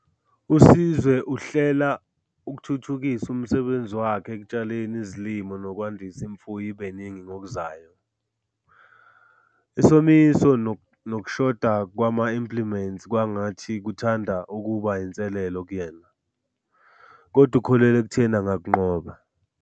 USizwe uhlela ukuthuthukisa umsebenzi wakhe ekutshaleni izilimo nokwandisa imfuyo ibe iningi ngokuzayo. Isomiso nokushoda kwama-implements kwangathi kuthanda ukuba yinselelo kuyena, kodwa ukholelwa ekutheni angakunqoba.